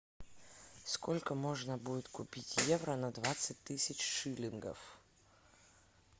сколько можно будет купить евро на двадцать тысяч шиллингов